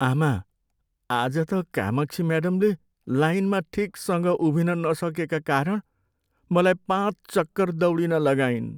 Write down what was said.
आमा, आज त कामाक्षी म्याडमले लाइनमा ठिकसँग उभिन नसकेका कारण मलाई पाँच चक्कर दौडिन लगाइन्।